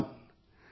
1